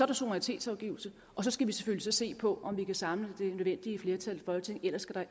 der suverænitetsafgivelse og så skal vi selvfølgelig se på om vi kan samle det nødvendige flertal i folketinget ellers